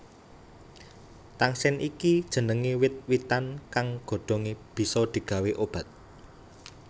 Tangsen iki jenengé wit witan kang godhongé bisa digawé obat